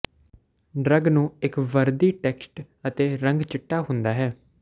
drug ਨੂੰ ਇੱਕ ਵਰਦੀ ਟੈਕਸਟ ਅਤੇ ਰੰਗ ਚਿੱਟਾ ਹੁੰਦਾ ਹੈ